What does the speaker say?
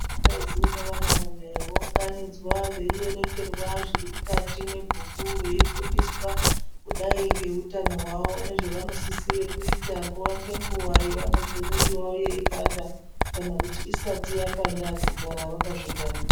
Vakadzi nevanarume vounganidzwa veierengerwa zviri mwukati mwebhuku veifundiswa kudai ngeutano hwavo, nezvevanosisire kuita nguwa ngenguwa yevanozwa mwiri yavo yeipanda kana kuti isati yapanda kugara vakazvingwarira.